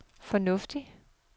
fornuftigt